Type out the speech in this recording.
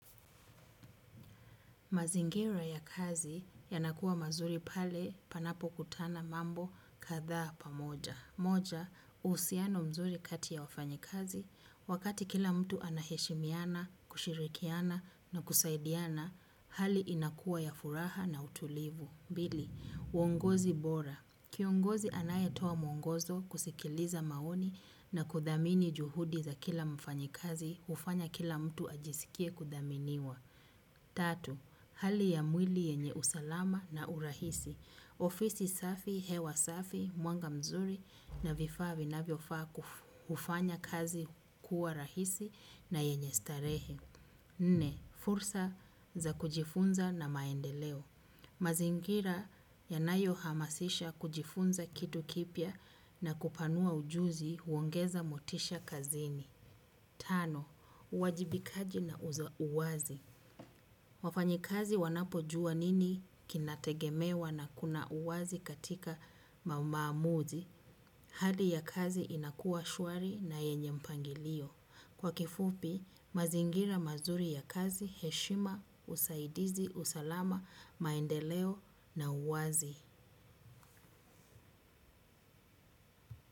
Mazingira ya kazi yanakuwa mazuri pale panapo kutana mambo kadhaa pamoja. Moja, uhusiano mzuri kati ya wafanyikazi wakati kila mtu anaheshimiana, kushirikiana na kusaidiana, hali inakuwa ya furaha na utulivu. Mbili, uongozi bora. Kiongozi anayetoa mwongozo kusikiliza maoni na kuthamini juhudi za kila mfanyikazi hufanya kila mtu ajisikie kuthaminiwa. Tatu, hali ya mwili yenye usalama na urahisi. Ofisi safi, hewa safi, mwanga mzuri na vifaa vinavyofaa kufanya kazi kuwa rahisi na yenye starehe. Nne, fursa za kujifunza na maendeleo. Mazingira yanayohamasisha kujifunza kitu kipya na kupanua ujuzi huongeza motisha kazini. Tano, uwajibikaji na uwazi. Wafanyikazi wanapojua nini kinategemewa na kuna uwazi katika maamuzi. Hali ya kazi inakuwa shwari na yenye mpangilio. Kwa kifupi mazingira mazuri ya kazi, heshima, usaidizi, usalama, maendeleo na uwazi.